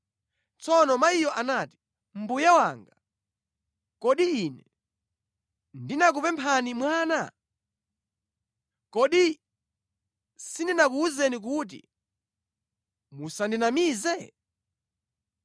Tsono mayiyo anati, “Mbuye wanga, kodi ine ndinakupemphani mwana? Kodi sindinakuwuzeni kuti musandinamize?”